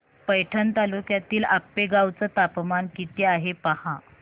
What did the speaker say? पैठण तालुक्यातील आपेगाव चं तापमान किती आहे पहा